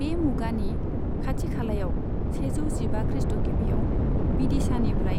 बे मुगानि खाथि खालायाव, सेजौ जिबा ख्रीष्ट'गिबियाव, विदिशानिफ्राय